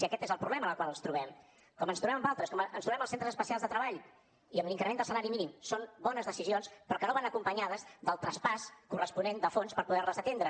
i aquest és el problema amb el qual ens trobem com ens trobem amb altres com ens trobem als centres especials de treball i amb l’increment del salari mínim són bones decisions però que no van acompanyades del traspàs corresponent de fons per poder les atendre